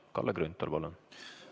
Kalle Grünthal, palun!